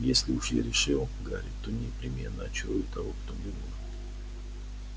если уж я решил гарри то непременно очарую того кто мне нужен